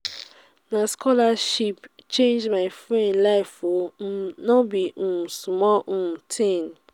na scholarship change my friend life o um no be um small um tin.